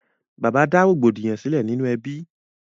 Bàbá dá rògbòdìyàn sílẹ̀ nínú ẹbí.